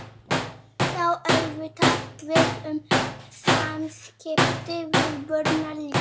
Þetta á auðvitað við um samskipti við börnin líka.